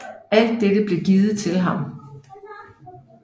Alt dette blev givet til ham